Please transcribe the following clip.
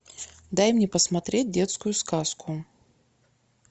дай мне посмотреть детскую сказку